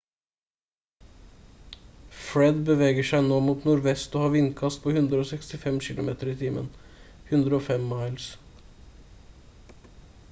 fred beveger seg nå mot nordvest og har vindkast på 165 kilometer i timen 105 miles